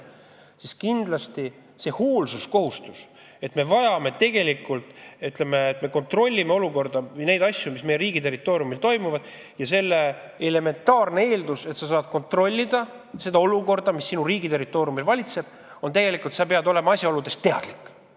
Meil on kindlasti hoolsuskohustus, aga elementaarne eeldus, et me kontrollime olukorda, asju, mis meie riigi territooriumil toimuvad, on tegelikult see, et me oleme asjaoludest teadlikud.